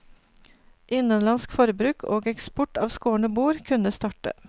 Innenlandsk forbruk og eksport av skårne bord kunne starte.